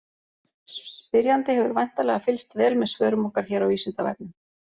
Spyrjandi hefur væntanlega fylgst vel með svörum okkar hér á Vísindavefnum.